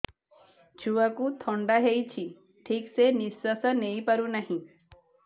ଛୁଆକୁ ଥଣ୍ଡା ହେଇଛି ଠିକ ସେ ନିଶ୍ୱାସ ନେଇ ପାରୁ ନାହିଁ